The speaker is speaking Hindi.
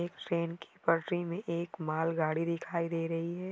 एक ट्रेन कि पटरी मे एक मालगाडी दिखाई दे रही है।